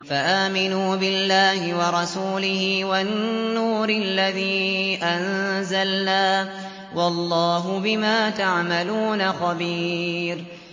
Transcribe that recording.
فَآمِنُوا بِاللَّهِ وَرَسُولِهِ وَالنُّورِ الَّذِي أَنزَلْنَا ۚ وَاللَّهُ بِمَا تَعْمَلُونَ خَبِيرٌ